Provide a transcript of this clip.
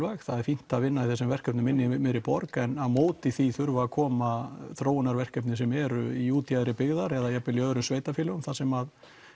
það er fínt að vinna í þessum verkefnum inni í miðri borg en á móti því þurfa að koma þróunarverkefni sem eru í útjaðri byggðar eða jafn vel í öðrum sveitarfélögum þar sem